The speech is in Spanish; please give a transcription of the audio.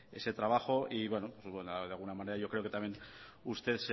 ese trabajo y de alguna manera yo creo que también usted